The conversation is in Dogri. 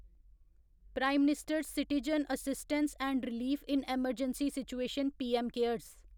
prime minister's citizen assistance and relief in emergency situation PM cares